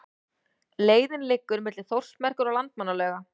Leiðin liggur milli Þórsmerkur og Landmannalauga.